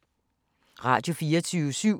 Radio24syv